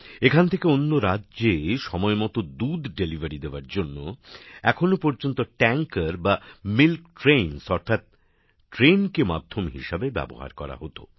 এখান থেকে অন্য রাজ্যে সময়মতো দুধ সরবরাহ করার জন্য এখনও পর্যন্ত ট্যাঙ্কার বা মিল্ক ট্রেন অর্থাৎ ট্রেনকে মাধ্যম হিসেবে ব্যবহার করা হত